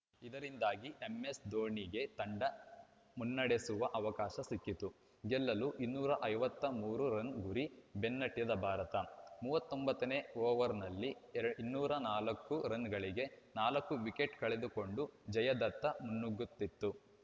ಇದರಿಂದಾಗಿ ಎಂಎಸ್‌ಧೋನಿಗೆ ತಂಡ ಮುನ್ನಡೆಸುವ ಅವಕಾಶ ಸಿಕ್ಕಿತು ಗೆಲ್ಲಲು ಇನ್ನೂರ ಐವತ್ತ್ ಮೂರು ರನ್‌ ಗುರಿ ಬೆನ್ನಟ್ಟಿದ ಭಾರತ ಮೂವತ್ತ್ ಒಂಬತ್ತ ನೇ ಓವರ್‌ನಲ್ಲಿ ಇನ್ನೂರ ನಾಲ್ಕು ರನ್‌ಗಳಿಗೆ ನಾಲ್ಕು ವಿಕೆಟ್‌ ಕಳೆದುಕೊಂಡು ಜಯದತ್ತ ಮುನ್ನುಗ್ಗುತ್ತಿತ್ತು